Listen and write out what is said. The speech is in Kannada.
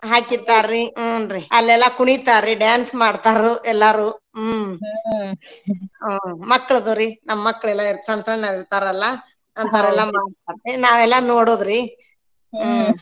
ಹಾಕಿರ್ತರರಿ ಹ್ಮ್ ರ್ರೀ ಅಲ್ಲೆಲ್ಲಾ ಕುಣಿತಾರರಿ dance ಮಾಡತಾರೂ ಎಲ್ಲರೂ ಹ್ಮ್ ಮಕ್ಕಳದವ್ರಿ ನಮ್ ಮಕ್ಕಳೆಲ್ಲ ಸಣ್ಣ ಸಣ್ಣರ ಇರ್ತಾರಲ್ಲ ನಾವೆಲ್ಲ ನೋಡೋದ್ರಿ ಹ್ಮ್.